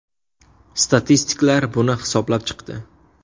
Statistiklar buni hisoblab chiqdi.